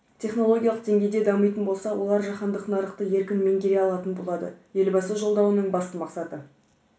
технологиялық деңгейде дамитын болса олар жаһандық нарықты еркін меңгере алатын болады елбасы жолдауының басты мақсаты